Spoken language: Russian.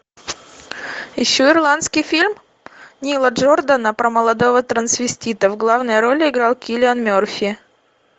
ищу ирландский фильм нила джордана про молодого трансвестита в главной роли играл киллиан мерфи